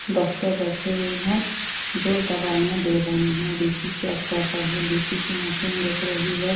Doctor बैठे हुए हैं जो दवाइयां दे रहे हैं बीपी चेक कर रहे हैं बीपी की मशीन दिख रही है।